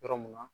Yɔrɔ mun na